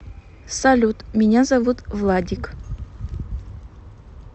салют меня зовут владик